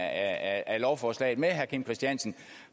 af lovforslaget med herre kim christiansen